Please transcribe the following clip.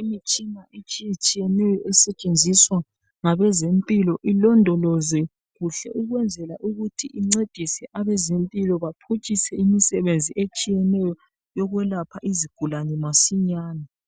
imitshina etshiyetshiyeneyo esetshenziswa ngabezempilo ilondolozwe kuhle ukwenzela ukuthi incedise abezempilo bathutshise imisebenzi etshiyeneyo yokwelapha izigulane masinyane.